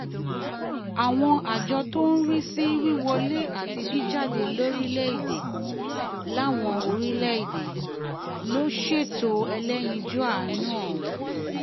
àjọ tó ń rí sí wíwọlé àti jíjáde lórílẹ̀-èdè láwọn orílẹ̀-èdè ló ṣètò ẹlẹ́yinjú àánú ọ̀hún